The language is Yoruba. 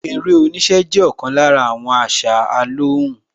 Eré oníṣẹ́ jẹ́ ọ̀kan lára àṣà alóhùn